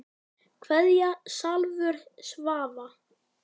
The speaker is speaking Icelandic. Kveðja Salvör Svava.